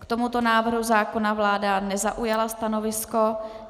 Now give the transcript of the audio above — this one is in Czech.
K tomuto návrhu zákona vláda nezaujala stanovisko.